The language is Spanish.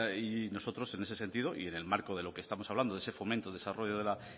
nosotros en ese sentido y en el marco de lo que estamos hablando de ese fomento de desarrollo de la